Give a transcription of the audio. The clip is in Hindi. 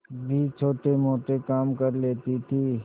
भी छोटेमोटे काम कर लेती थी